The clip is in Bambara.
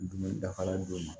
Dumuni dafara don min